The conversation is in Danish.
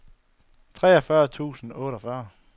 treogfyrre tusind og otteogfyrre